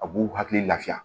A b'u hakili lafiya